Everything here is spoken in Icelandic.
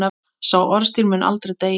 Sá orðstír mun aldrei deyja.